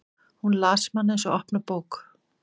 Hún las mann eins og opna bók.